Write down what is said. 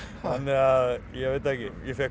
að ég veit það ekki ég fékk